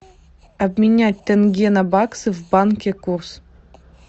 обменять тенге на баксы в банке курс